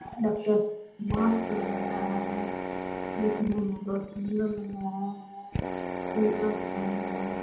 Doctor mask लगाया है देखने में बहुत सुन्दर लग रहा है टी-शर्ट पहना है ।